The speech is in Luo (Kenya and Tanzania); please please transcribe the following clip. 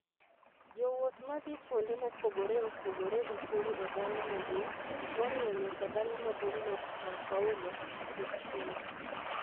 Jowuoth ma dhi kuonde mopogore opogore e piny e dala maduong, moriwo nyaka dala maduong ' mar Săo Paulo, osechungo.